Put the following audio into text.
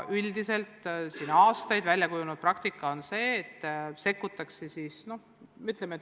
Aastate jooksul väljakujunenud praktika on, et sekkutakse vaid vajaduse korral.